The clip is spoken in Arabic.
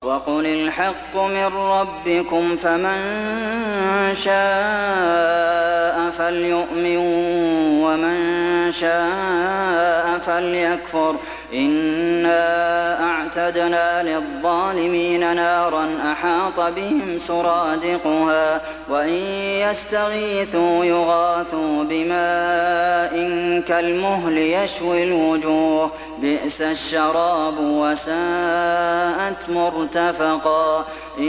وَقُلِ الْحَقُّ مِن رَّبِّكُمْ ۖ فَمَن شَاءَ فَلْيُؤْمِن وَمَن شَاءَ فَلْيَكْفُرْ ۚ إِنَّا أَعْتَدْنَا لِلظَّالِمِينَ نَارًا أَحَاطَ بِهِمْ سُرَادِقُهَا ۚ وَإِن يَسْتَغِيثُوا يُغَاثُوا بِمَاءٍ كَالْمُهْلِ يَشْوِي الْوُجُوهَ ۚ بِئْسَ الشَّرَابُ وَسَاءَتْ مُرْتَفَقًا